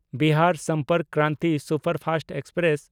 Bihar Sampark Kranti superfast express